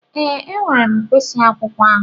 Ee, m were mkpịsị akwụkwọ ahụ.